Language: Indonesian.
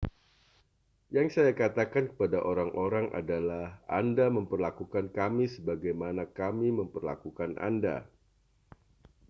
yang saya katakan kepada orang-orang adalah anda memperlakukan kami sebagaimana kami memperlakukan anda